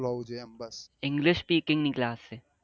English speaking class